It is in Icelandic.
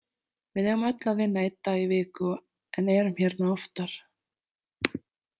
Við eigum öll að vinna einn dag í viku en erum hérna oftar.